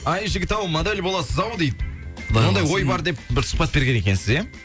ай жігіт ау модель боласыз ау дейді ондай ой бар деп бір сұхбат берген екенсіз иә